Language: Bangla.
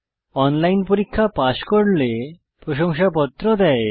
অনলাইন পরীক্ষা পাস করলে প্রশংসাপত্র দেওয়া হয়